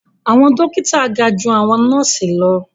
Awọn dókítà ga jù awọn nọọsi lọ